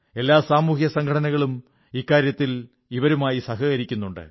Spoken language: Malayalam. എല്ലാ സാമൂഹിക സംഘടനകളും ഈ കാര്യത്തിൽ ഇവരുമായി സഹകരിക്കുന്നുണ്ട്